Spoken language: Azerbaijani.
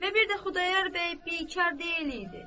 Və bir də Xudayar bəy bikar deyil idi.